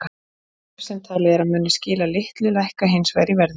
Bréf sem talið er að muni skila litlu lækka hins vegar í verði.